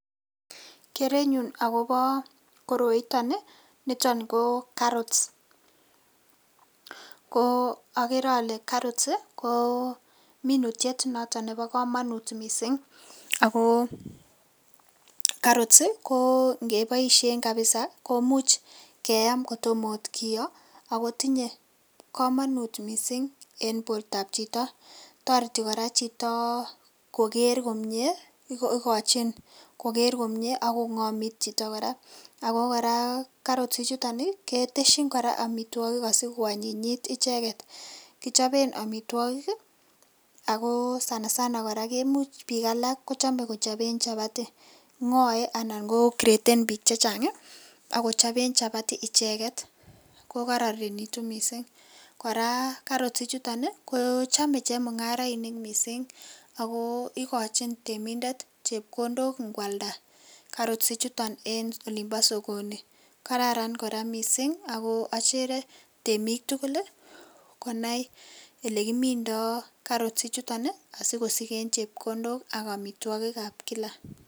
Kerenyun akobo koroiton ii niton koo carrots ko okere ole carrot kominutiet nebo komonut missing' akoo carrot ingeboishen kabisa komuch keyaam kotom oot kiyoo akotinye komonut missing' en bortab chito, toreti koraa chiti koker komie, igochin koker komie ak kongomit chito koraa , ako koraa carrot ichuton ii keteshin koraa omitwogik asikoanyinyit icheket ii ,ako sana sana koraa komuch bik alak kochome kochoben chapati ngoe anan ko graden bik chechang ii akochoben chapati icheket kokoronitu missing', koraa carrot ichuton ii kochome chemungarainik missing' ako igochin temindet chepkondok ikwalda carrot ichuton en olimbo sokoni, kararan koraa missing' ako ochere temik tugul ii konai elekimindo carrot ichuton ii sikosiken chepkondok ak omitwogikab kila.